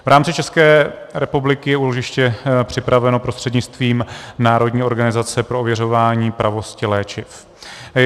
V rámci České republiky je úložiště připraveno prostřednictvím Národní organizace pro ověřování pravosti léčiv.